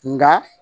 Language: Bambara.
Nka